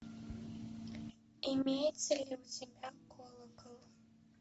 имеется ли у тебя колокол